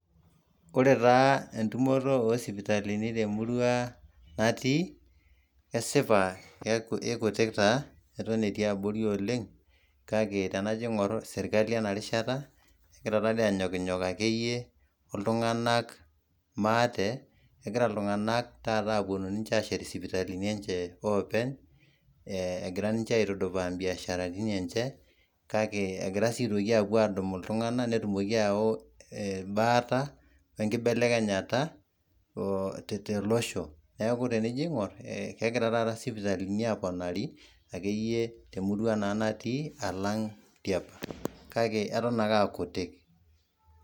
Ore taa entumoto oo sipitali te murua natii kesipa kei ikutik taa eton etii abori oleng, ake tenajo aing`or ore sirkali ena rishata egira taa doi aanyokinyok akeyie, o iltung`anak maate. Kegira iltung`anak taata aaponu aashet isipitalini enje openy egira ninche aitudupaa biasharani enje kake egira sii aapuo aadumu iltung`nak netumoki aayau embaata o nkibelekenyata oo tolosho, niaku tenijo aing`or kegira taata isipitalini aponari temurua natii alang tiapa, kake eton ake aa kutik.